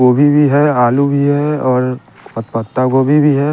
गोभी भी है आलू भी है और पत पत्तागोभी भी है।